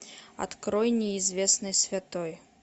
открой неизвестный святой